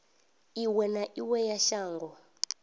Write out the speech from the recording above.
iwe na iwe ya shango